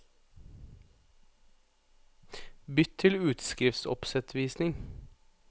Bytt til utskriftsoppsettvisning